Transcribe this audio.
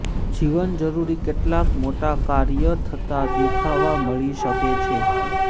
જીવન જરૂરી કેટલાક મોટા કાર્ય થતા દેખવા મળી શકે છે